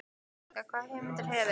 Helga: Hvaða hugmyndir hefurðu?